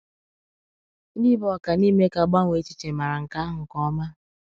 Ndị bụ ọka n’ime ka a gbanwee èchìchè màrà nke àhụ nke ọma.